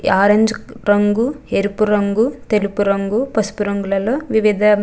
orange రంగు ఎరుపు రంగు తెలుపు రంగు పసుపు రంగులలో వివిధ --